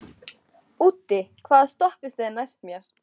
Úddi, hvaða stoppistöð er næst mér?